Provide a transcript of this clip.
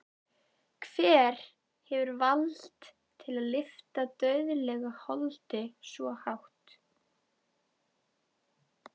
Hver hefur vald til að lyfta dauðlegu holdi svo hátt?